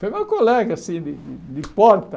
Foi meu colega, assim, de de de porta.